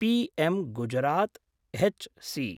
PM Gujarat H C